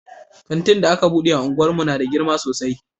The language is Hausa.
Kanti da aka bude a unguwar mu na da girma sosai